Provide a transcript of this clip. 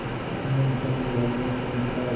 अपने घर वालों को बुला